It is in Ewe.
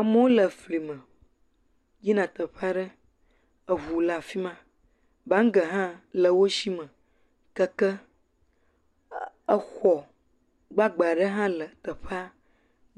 Amewo le fli me yina teƒe aɖe. eŋu le afi ma. Bagi hã le wo sime keke, exɔ gbagbe aɖe hã le teƒea.